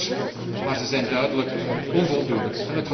Die zijn goed, maar ze zijn duidelijk onvoldoende.